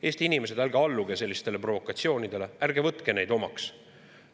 Eesti inimesed, ärge alluge sellistele provokatsioonidele, ärge võtke neid omaks!